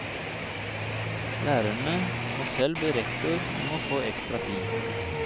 Lærerne må selv be rektor om å få ekstra tid.